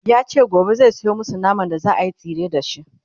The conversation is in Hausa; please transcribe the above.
yace gobe zai Sayo masu naman da zaayi tsire da shi